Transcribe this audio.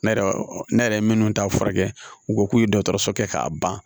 Ne yɛrɛ ne yɛrɛ minnu t'a furakɛ u ko k'u ye dɔgɔtɔrɔso kɛ k'a ban